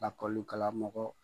Lakɔlukalamɔgɔ